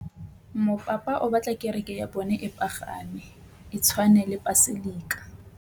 Mopapa o batla kereke ya bone e pagame, e tshwane le paselika.